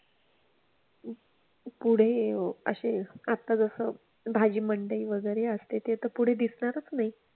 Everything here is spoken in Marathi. पुढे असे आता जसं भाजी मंडई वगैरे असते ते तर पुढे दिसणारच नाही.